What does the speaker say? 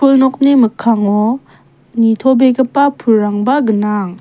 nokni mikkango nitobegipa pulrangba gnang.